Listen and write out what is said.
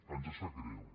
ens sap greu